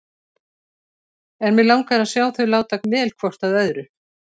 En mig langar að sjá þau láta vel hvort að öðru.